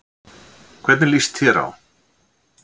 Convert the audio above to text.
Hvernig líst þér á?